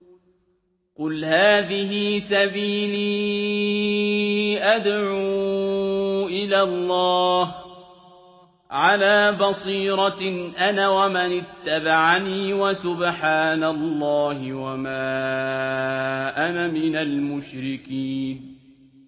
قُلْ هَٰذِهِ سَبِيلِي أَدْعُو إِلَى اللَّهِ ۚ عَلَىٰ بَصِيرَةٍ أَنَا وَمَنِ اتَّبَعَنِي ۖ وَسُبْحَانَ اللَّهِ وَمَا أَنَا مِنَ الْمُشْرِكِينَ